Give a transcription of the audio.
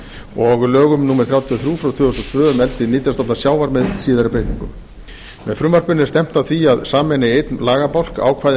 og lögum númer þrjátíu og þrjú tvö þúsund og tvö um eldi nytjastofna sjávar með síðari breytingum með frumvarpinu er stefnt að því að sameina í einn lagabálk ákvæði